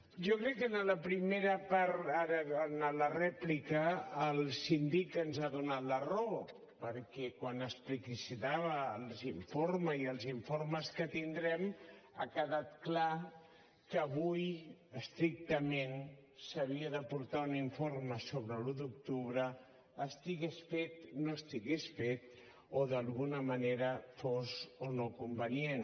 jo crec que en la primera part ara en la rèplica el síndic ens ha donat la raó perquè quan explicitava l’informe i els informes que tindrem ha quedat clar que avui estrictament s’havia d’aportar un informe sobre l’un d’octubre estigués fet no estigués fet o d’alguna manera fos o no convenient